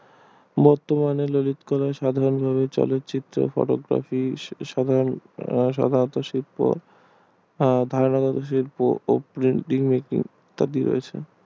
বতমানে ললিতকলা সাধারণ ভাবে চলচিত্র photography সাধারণত শিল্প